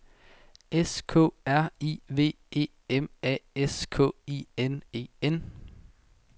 S K R I V E M A S K I N E N